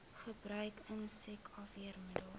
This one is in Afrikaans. gebruik insek afweermiddels